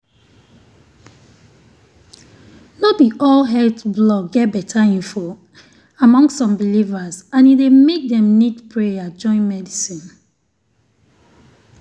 no be all health blog get better info among some believers and e dey make dem need prayer join medicine.